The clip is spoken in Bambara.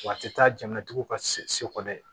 Wa a tɛ taa jamanatigiw ka se ko dɛ